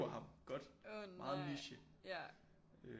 Han godt meget niche